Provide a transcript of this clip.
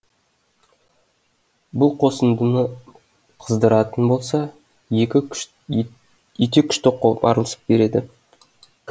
бұл қосындыны қыздыратын болса ете күшті қопарылыс береді